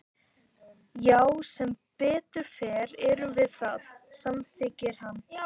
Hvernig sérð þú svona sem fylgist með stjórnmálum sem stjórnmálafræðingur?